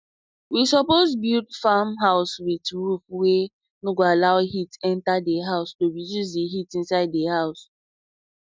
we suppose build farm house with roof wey no go allow allow heat enta the house to reduce the heat inside the house